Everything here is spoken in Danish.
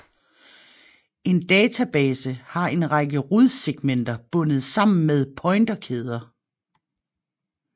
En database har en række rodsegmenter bundet sammen med pointerkæder